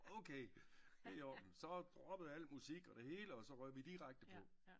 Okay det i orden så droppede jeg al musik og det hele og så røg vi direkte på